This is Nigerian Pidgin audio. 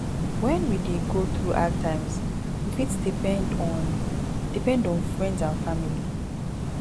when we dey go through hard times we fit depend on depend on friends and family